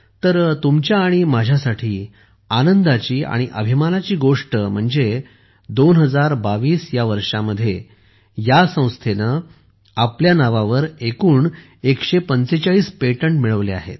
तर तुमच्या आणि माझ्या साठी आनंदाची आणि अभिमानाची गोष्ट म्हणजे 2022 ह्या वर्षामध्ये या संस्थेने आपल्या नावावर एकूण 145 पेटंट मिळवले आहेत